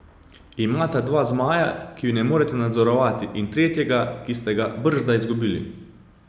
Imate dva zmaja, ki ju ne morete nadzorovati, in tretjega, ki ste ga bržda izgubili.